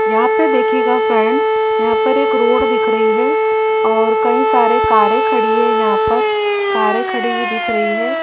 यहां पे देखिएगा फ्रेंड यहां पर एक रोड दिख रही है और कई सारे कारे खड़ी है यहां पर कारे खड़ी हुई दिख रही है।